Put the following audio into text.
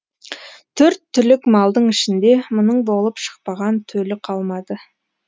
төрт түлік малдың ішінде мұның болып шықпаған төлі қалмады